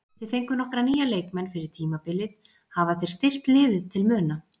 Þið fenguð nokkra nýja leikmenn fyrir tímabilið, hafa þeir styrkt liðið til muna?